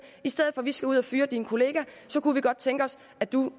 i stedet for at vi skal ud og fyre din kollega kunne vi godt tænke os at du